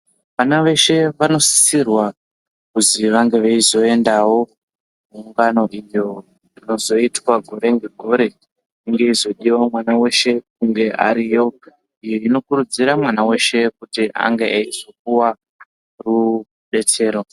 Vana veshe vanosisirwa kuti vange veizoendawo kuungano kuitira rinozoitwa gore ngegore inge yeizodiwa mwana weshe kunge ariyo iyi inokurudzira mwana weshe kuti ange achipuwa rudetsero.